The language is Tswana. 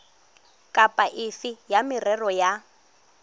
kapa efe ya merero ya